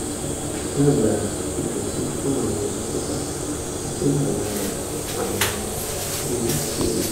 dábàá ìtọ́jú fún àwọn kókó tó wà lára àwọn oríkèé